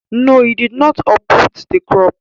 No, he did not uproot the crop